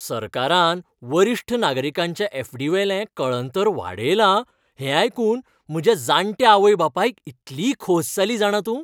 सरकारान वरिश्ठ नागरिकांच्या ऍफ.डी.वेलें कळंतर वाडयला हें आयकून म्हज्या जाण्ट्या आवय बापायक इतली खोस जाली जाणा तूं.